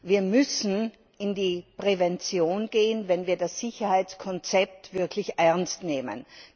Wir müssen in die Prävention gehen, wenn wir das Sicherheitskonzept wirklich ernst nehmen.